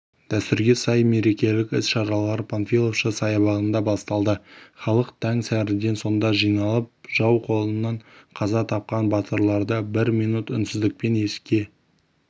дәстүрге сай мерекелік іс-шаралар панфиловшы саябағында басталды халық тәң сәріден сонда жиналып жау қолынан қаза тапқан батырларды бір минут үнсіздікпен еске